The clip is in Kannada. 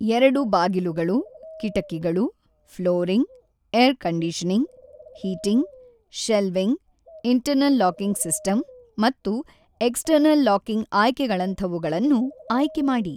ಎರಡು ಬಾಗಿಲುಗಳು, ಕಿಟಕಿಗಳು, flooring, air conditioning, heating, shelving, internal locking system ಮತ್ತು ಎಕ್ಸಟರ್ನಲ್ ಲಾಕಿಂಗ್ ಆಯ್ಕೆಗಳಂತವುಗಳನ್ನು ಆಯ್ಕೆ ಮಾಡಿ.